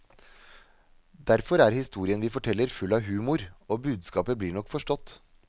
Derfor er historien vi forteller, full av humor, og budskapet blir nok forstått.